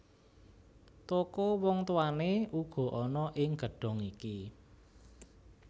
Toko wong tuwané uga ana ing gedhong iki